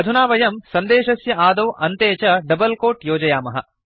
अहुना वयं सन्देशस्य आदौ अन्ते च डबल् कोट् योजयामः